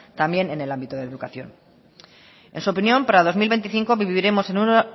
también en el ámbito de educación en su opinión para dos mil veinticinco viviremos en una